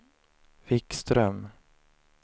Wikström